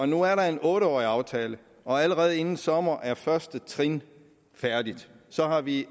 nu er der en otte årig aftale og allerede inden sommer er første trin færdigt så har vi